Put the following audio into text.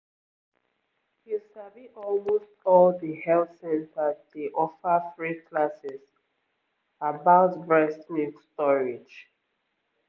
you sabi almost all the health centers dey offer free classes about breast milk storage